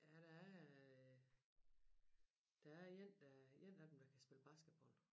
Ja der er der er én der én af dem der kan spille basketball